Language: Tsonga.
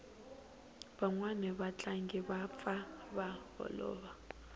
vanwani va tlangi va pfa va holova